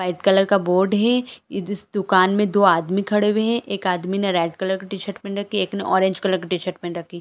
White colour का board है इस दुकान में दो आदमी खड़े हुए है एक आदमी ने रेड कलर का टीशर्ट पहन रखी है एक आदमी ने ऑरेंज कलर की पहन रखी है।